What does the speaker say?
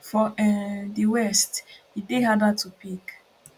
for um di west e dey harder to pick